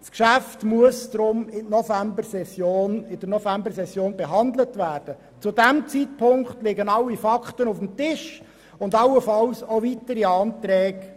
Deshalb muss das Geschäft in der Novembersession behandelt werden, wenn alle Fakten auf dem Tisch liegen.